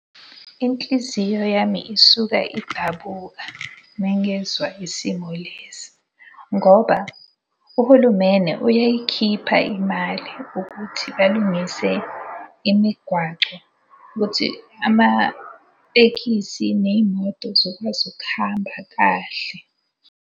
Inhliziyo yami isuka idabuka mengezwa isimo lesi. Ngoba uhulumene uyayikhipha imali ukuthi balungise imigwaco ukuthi amatekisi ney'moto zokwazi ukuhamba kahle.